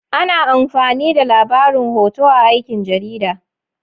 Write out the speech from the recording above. Ana amfani da labarin hoto a aikin jarida.